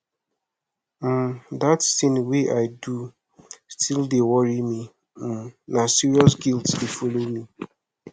um dat tin wey i do still dey worry me um na serious guilt dey folo me